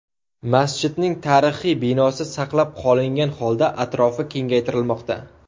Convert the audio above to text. Masjidning tarixiy binosi saqlab qolingan holda atrofi kengaytirilmoqda.